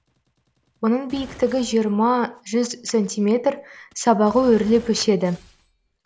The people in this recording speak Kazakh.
оның биіктігі жиырма жүз сантиметр сабағы өрлеп өседі